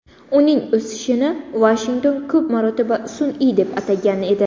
Uning o‘sishini Vashington ko‘p marotaba sun’iy deb atagan edi.